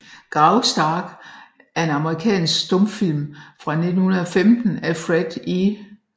Graustark er en amerikansk stumfilm fra 1915 af Fred E